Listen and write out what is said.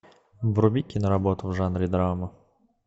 вруби киноработу в жанре драма